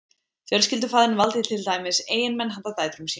Fjölskyldufaðirinn valdi til dæmis eiginmenn handa dætrum sínum.